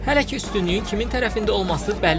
Hələ ki, üstünlüyün kimin tərəfində olması bəlli deyil.